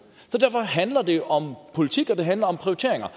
derfor handler det jo om politik og det handler om prioriteringer